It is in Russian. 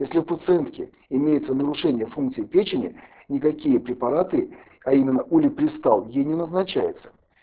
если у пациентки имеются нарушения функции печени никакие препараты а именно улипристал ей не назначаются